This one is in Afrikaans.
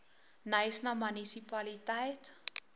knysna munisipaliteit